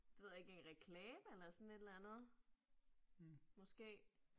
Det ved jeg ikke, en reklame eller sådan et eller andet. Måske